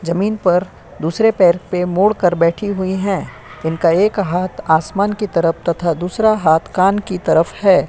जमीन पर दूसरे पैर पर मोड़ के बैठी हुई है। इनका एक हाथ आसमान की तरफ तो दूसरा कान की तरफ है।